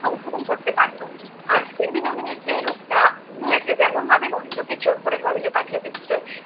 সংশোধন করতে পারতো, আজকে বিনোদিনী যে রূপটা নিয়েছে, যেমনভাবে মহেন্দ্রকে জোর করে college এ পাঠিয়ে দিচ্ছে